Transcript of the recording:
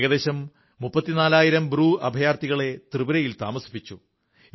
ഏകദേശം 34000 ബ്രൂ അഭയാർഥികളെ ത്രിപുരയിൽ താമസിപ്പിച്ചു